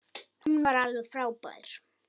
Hún var alveg frábær.